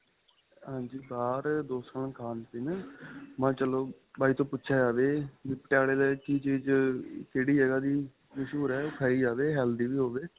ਹਾਂਜੀ ਬਹਾਰ ਦੋਸਤਾਂ ਨਾਲ ਖਾਣ ਪੀਣ ਮੈਂ ਕਿਹਾ ਚਲੋ ਭਾਈ ਤੋ ਪੁਛਿਆ ਜਾਵੇ ਵੀ ਪਟਿਆਲਾਂ ਦੀ ਕਿ ਚੀਜ ਕਿਹੜੀ ਜਗ੍ਹਾ ਦੀ ਮ੍ਸੂਹਰ ਏ ਖਾਈ ਜਾਵੇ healthy ਵੀ ਹੋਵੇ